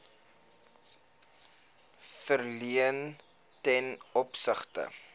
verleen ten opsigte